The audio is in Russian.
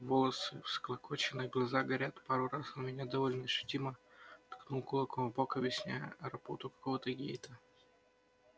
волосы всклокочены глаза горят пару раз он меня довольно ощутимо ткнул кулаком в бок объясняя работу какого-то гейта